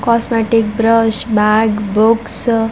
cosmetic brush bag books --